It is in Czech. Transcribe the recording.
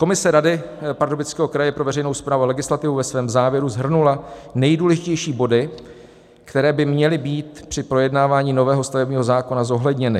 Komise rady Pardubického kraje pro veřejnou správu a legislativu ve svém závěru shrnula nejdůležitější body, které by měly být při projednávání nového stavebního zákona zohledněny.